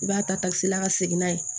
I b'a tasi la ka segin n'a ye